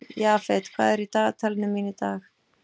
Jafet, hvað er í dagatalinu mínu í dag?